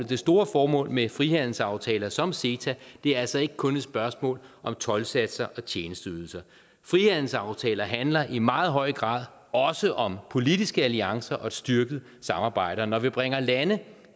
det store formål med frihandelsaftaler som ceta altså ikke kun er spørgsmål om toldsatser og tjenesteydelser frihandelsaftaler handler i meget høj grad også om politiske alliancer og styrket samarbejde og når vi bringer lande